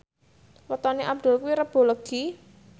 wetone Abdul kuwi Rebo Legi